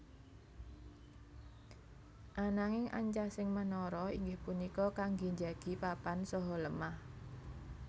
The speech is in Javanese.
Ananging ancasing menara inggih punika kanggé njagi papan saha lemah